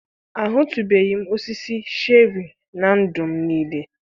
Ahụtụbeghị m osisi sherii na ndụ m niile.